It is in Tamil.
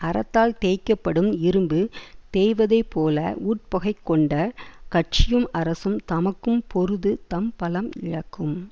அரத்தால் தேய்க்க படும் இரும்பு தேய்வது போல உட்பகை கொண்ட கட்சியும் அரசும் தமக்கும் பொருது தம் பலம் இழக்கும்